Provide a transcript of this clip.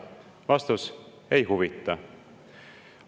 Vastus: ei huvita.